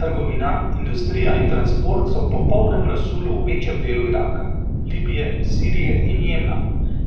Trgovina, industrija in transport so v popolnem razsulu v večjem delu Iraka, Libije, Sirije in Jemna,